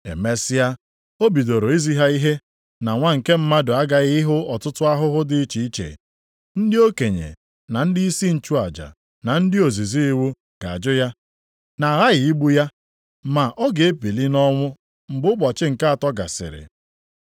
Emesịa, o bidoro izi ha ihe na Nwa nke Mmadụ aghaghị ịhụ ọtụtụ ahụhụ dị iche iche, ndị okenye, na ndịisi nchụaja na ndị ozizi iwu ga-ajụ ya, na aghaghị igbu ya, ma ọ ga-ebili nʼọnwụ mgbe ụbọchị nke atọ gasịrị.